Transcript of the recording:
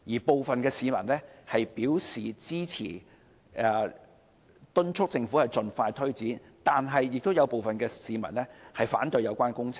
部分市民表示支持工程，敦促政府盡快推展，但亦有部分市民反對有關工程。